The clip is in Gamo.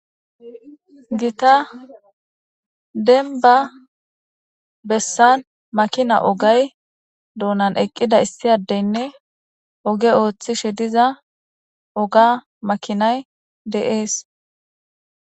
gita demba bessan makina ogay doonan eqqida issi addeynne oghe ooththishe diza ogga makinay de7ees.